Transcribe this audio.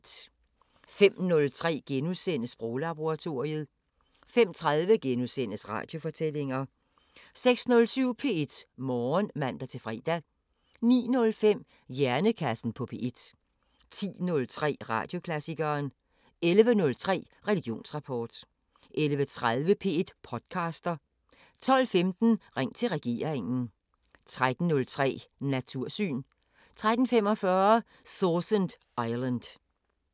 05:03: Sproglaboratoriet * 05:30: Radiofortællinger * 06:07: P1 Morgen (man-fre) 09:05: Hjernekassen på P1 10:03: Radioklassikeren 11:03: Religionsrapport 11:30: P1 podcaster 12:15: Ring til regeringen 13:03: Natursyn 13:45: Sausan Island